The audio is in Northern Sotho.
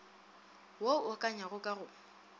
wo o akanywago ka go